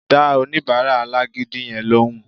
Dá oníbàárà alágídí yẹn lóhùn